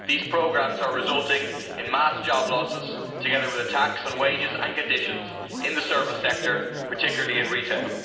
These programmes are resulting in mass job losses, together with attacks on wages and conditions in the service sector, particularly in retail.